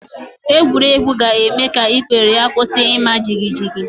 Egwuregwu ga-eme ka ikpere ya kwusi ima jigijigi